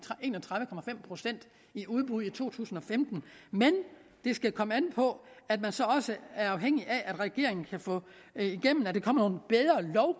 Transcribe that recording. en og tredive procent i udbud i to tusind og femten men det skal komme an på at man så også er afhængig af at regeringen kan få igennem at der kommer